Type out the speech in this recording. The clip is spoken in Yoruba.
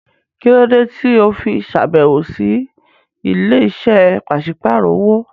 Kí ló dé tí o fi ṣàbẹ̀wò sí ilé-iṣẹ́ pàṣípàrọ̀ owó?